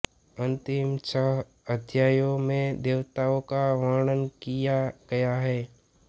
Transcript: अंतिम छह अध्यायों में देवताओं का वर्णन किया गया है